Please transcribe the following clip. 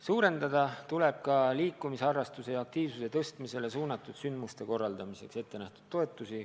Suurendada tuleb ka liikumisharrastuse laiendamisele suunatud sündmuste korraldamiseks ette nähtud toetusi.